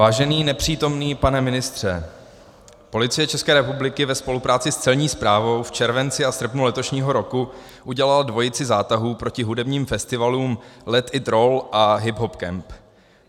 Vážený nepřítomný pane ministře, Policie České republiky ve spolupráci s Celní správou v červenci a srpnu letošního roku udělala dvojici zátahů proti hudebním festivalům Let It Roll a Hip Hop Kemp.